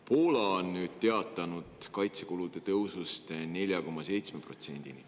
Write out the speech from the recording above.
Poola on teatanud kaitsekulude tõusust 4,7%‑ni.